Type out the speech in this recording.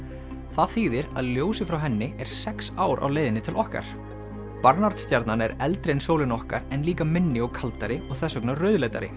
það þýðir að ljósið frá henni er sex ár á leiðinni til okkar stjarnan er eldri en sólin okkar en líka minni og kaldari og þess vegna